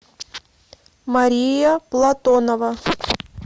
мария платонова